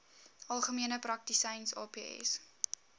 algemene praktisyns aps